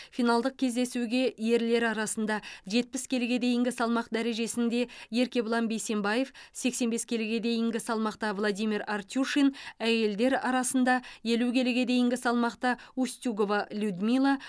финалдық кездесуге ерлер арасында жетпіс келіге дейінгі салмақ дәрежесінде еркебұлан бейсембаев сексен бес келіге дейінгі салмақта владимир артюшин әйелдер арасында елу келіге дейінгі салмақта устюгова людмила